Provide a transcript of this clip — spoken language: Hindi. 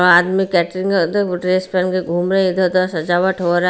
और आदमी ड्रेस पहन के घूम रही इधर उधर सजावट हो रहा।